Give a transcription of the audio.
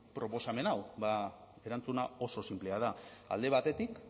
proposamen hau ba erantzuna oso sinplea da alde batetik